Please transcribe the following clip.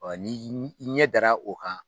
Ɔ ni i ɲɛ dara o kan